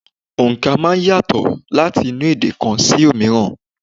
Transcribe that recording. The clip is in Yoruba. Òǹkà máa ń yàtọ̀ láti inú èdè kan sí òmíràn.